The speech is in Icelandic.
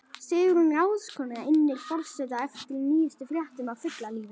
Sigrún ráðskona innir forseta eftir nýjustu fréttum af fuglalífi.